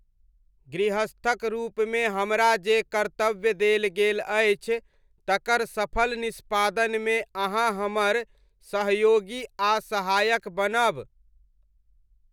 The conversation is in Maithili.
गृहस्थक रूपमे हमरा जे कर्तव्य देल गेल अछि तकर सफल निष्पादनमे अहाँ हमर सहयोगी आ सहायक बनब।